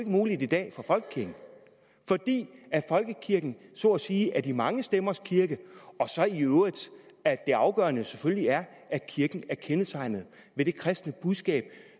muligt i dag for folkekirken fordi folkekirken så at sige er de mange stemmers kirke og så i øvrigt at det afgørende jo selvfølgelig er at kirken er kendetegnet ved det kristne budskab